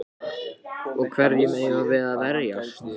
Og hverjum eigum við að verjast?